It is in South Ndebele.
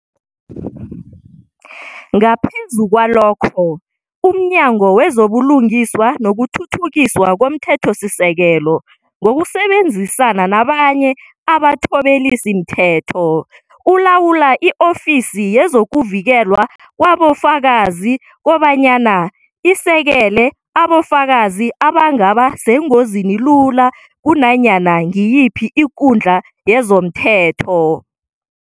Ngaphezu kwalokho, umNyango wezoBulungiswa nokuThuthukiswa komThethosisekelo, ngokusebenzisana nabanye abathobelisimthetho, ulawula i-Ofisi yezokuVikelwa kwaboFakazi kobanyana isekele abofakazi abangaba sengozini lula kunanyana ngiyiphi ikundla yezomthetho.